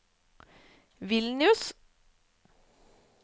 Vilnius